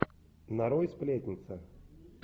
нарой сплетница